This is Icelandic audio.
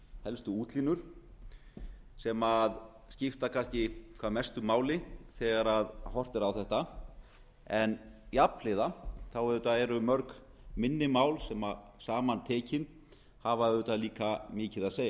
helstu útlínur sem skipta kannski hvað mestu máli þegar horft er á þetta en jafnhliða eru auðvitað mörg minni mál sem saman tekin hafa auðvitað líka mikið að segja